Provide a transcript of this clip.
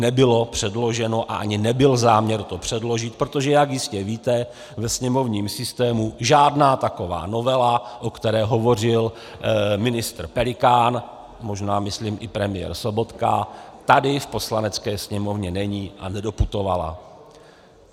Nebylo předloženo a ani nebyl záměr to předložit, protože jak jistě víte, ve sněmovním systému žádná taková novela, o které hovořil ministr Pelikán, možná myslím i premiér Sobotka, tady v Poslanecké sněmovně není a nedoputovala.